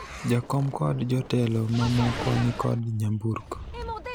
jakom kod jotelo mamoko nikod nyamburko